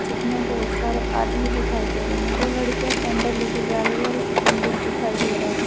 बहोत सारे आदमी दिखाई दे रहे हैं दो लड़कियां कैंडल लेके जा रही है और पंडित दिखाई दे रहा है।